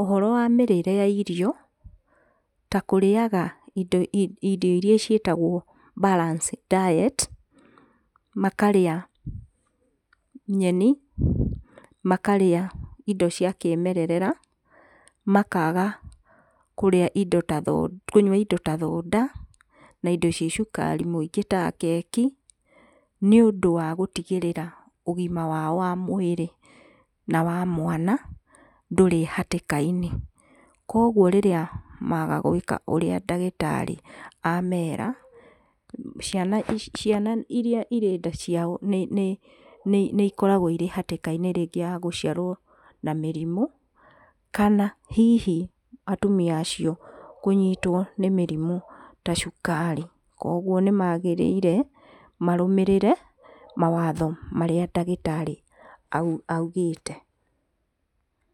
ũhoro wa mĩrĩre ya ĩrio, ta kũrĩaga ĩrio ĩrĩa ciĩtagwo balance diet, makarĩa nyeni, makarĩa indo cia kĩmererera, makaga kũrĩa kũnyua indo ta thota, makaga kũnyua ĩndo ci na cukari mũingĩ ta keki, nĩũndũ wa gũtigĩrĩra ũgima wao wa mwĩrĩ na wa mwana, ndũrĩ hatĩka-inĩ. Kwoguo rĩrĩa maga gwĩka ũrĩa ndagĩtarĩ amera, ciana ici, ciana ĩrĩa cirĩte ciao, nĩ nĩ nĩikoragwo ĩrĩ hatĩka-inĩ, rĩngĩ ya gũciarwo na mĩrimũ, kana hihi atumi acio rĩngĩ kũnyitwo nĩ mĩrimũ, ta cukari. Kwoguo nĩ magĩrĩire marũmĩrĩre mawatho marĩa ndagĩtarĩ oigĩte.